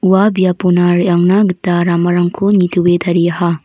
ua biapona re·angna gita ramarangko nitoe tariaha.